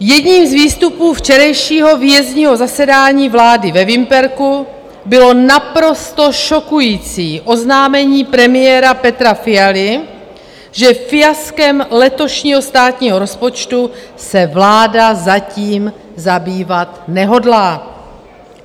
Jedním z výstupů včerejšího výjezdního zasedání vlády ve Vimperku bylo naprosto šokující oznámení premiéra Petra Fialy, že fiaskem letošního státního rozpočtu se vláda zatím zabývat nehodlá.